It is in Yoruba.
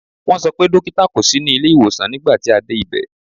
Wọ́n sọ pé dókítà kò sí ní ilé ìwòsàn nígbà tí a dé ibẹ̀.